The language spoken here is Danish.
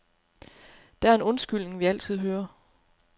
Der er en undskyldning, vi altid hører.